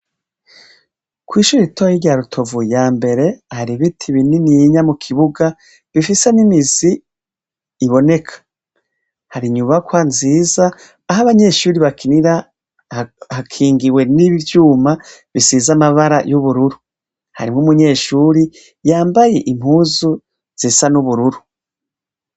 Kw'ishura itoye rya rutovu ya mbere hari ibiti binini yinya mu kibuga bifisa n'imizi iboneka hari inyubakwa nziza aho abanyeshuri bakinira hakingiwe n'ibivyuma bisiza amabara y'ubururu harimwo umunyeshuri yambaye impuzu zesa niubururu.